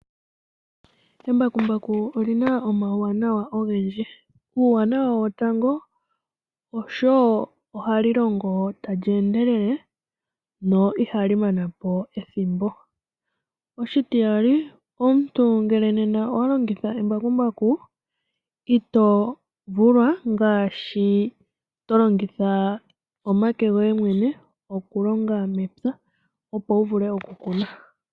Embakumbaku olina omawuwanawa ogendji. Uuwanawa wo tango ooshoka hali longo tali endelele no ihali manapo ethimbo. Oshitiyali, omuntu ngele nena owa longitha embakumbaku ito vulwa ngaashi to longitha omake goye mwene okulonga mepya, opo wu vule okukuna.